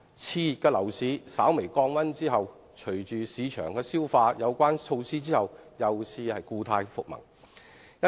熾熱的樓市稍微降溫後，隨着市場消化有關措施，又故態復萌。